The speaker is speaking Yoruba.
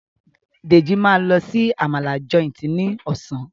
Deji ma ló sì Àmàlà Joint ní Ọ̀sán.